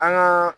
An ka